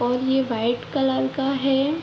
और ये white colour का है।